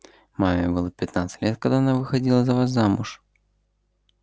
маме было пятнадцать лет когда она выходила за вас замуж